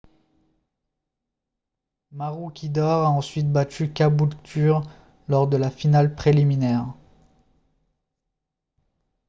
maroochydore a ensuite battu caboolture lors de la finale préliminaire